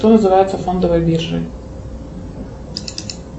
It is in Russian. что называется фондовой биржей